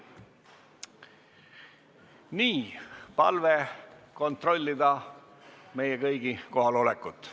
On palve kontrollida meie kohalolekut.